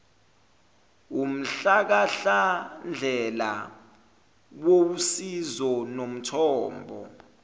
wumhlahlandlela owusizo nomthombo